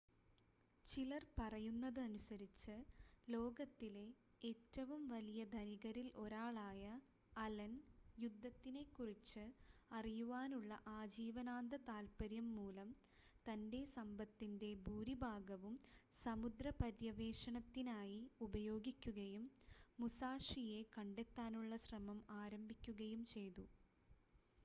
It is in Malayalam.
ചിലർ പറയുന്നതനുസരിച്ച് ലോകത്തിലെ ഏറ്റവും വലിയ ധനികരിൽ ഒരാളായ അലൻ യുദ്ധത്തിനെക്കുറിച്ച് അറിയുവാനുള്ള ആജീവനാന്ത താല്പര്യം മൂലം തൻ്റെ സമ്പത്തിൻ്റെ ഭൂരിഭാഗവും സമുദ്രപര്യവേഷണത്തിനായി ഉപയോഗിക്കുകയും മുസാഷിയെ കണ്ടെത്താനുള്ള ശ്രമം ആരംഭിക്കുകയും ചെയ്തു